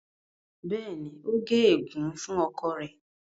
béèni o gé egun fún ọkọ rẹ.